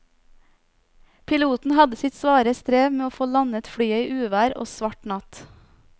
Piloten hadde sitt svare strev med å få landet flyet i uvær og svart natt.